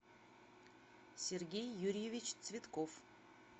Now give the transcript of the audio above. сергей юрьевич цветков